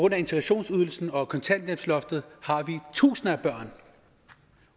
af integrationsydelsen og kontanthjælpsloftet har tusinde af børn